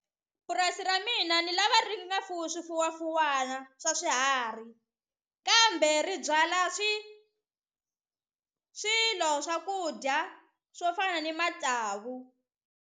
Purasi ra mina ni lava ri nga fuwi swifuwafuwana swa swiharhi kambe ri byala swilo swakudya swo fana ni matsavu.